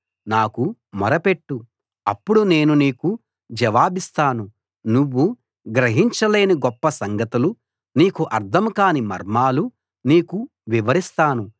నాకు మొర పెట్టు అప్పుడు నేను నీకు జవాబిస్తాను నువ్వు గ్రహించలేని గొప్ప సంగతులు నీకు అర్థం కాని మర్మాలు నీకు వివరిస్తాను